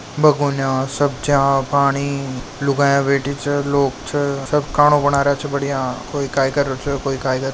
भगोना सब्जिया पाणी लुगाया बेठी छे लोग छे सब खाना बना रहियो छे बढ़िया कोई काई कर रहो छे कोई काई कर --